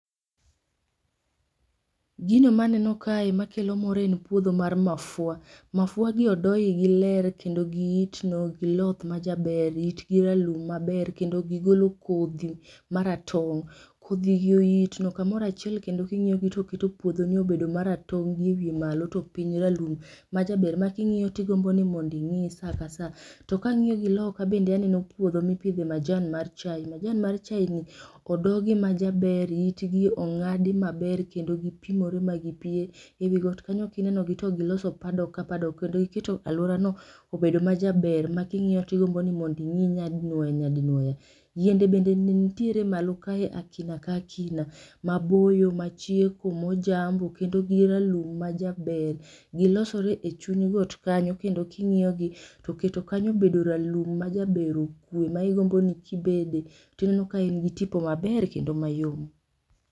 Gino maneno kae makelo mor en puodho mar mafua, mafua gi odo igi ler kendo itno giloth majaber, itgi ralum maber kendo gigolo kodhi maratong. Kodhigi oitno kamoro achiel kendo king'iyogi gimiyo puodhoni obedo maratong gi e wiye malo to piny ralum majaber ma king'iyo tigombo mondo ingi saa ka saa. To kang'iyo gi loka bende aneno puodho mipidhe majan mar chai, majan mar chai ni odogi majaber, itgi ongadi maber kendo gipimore ma gipie. Ewi got kanyo kingiyogi to giloso padok ka paddock giketo aluorano obedo majaber ma kingiyo tigombo mondo ingi nyadinuoya nyadinuoya. Yiende bende nitiere malo kae akina kaki, maboyo, machieko ,mojambo kendo giralum majaber, gilosore e chuny got kanyo kendo kingiyo gi toketo kanyo obedo ma ralum majaber okwe ma igombo ni ibede tineno ka in gi tipo maber kendo mayom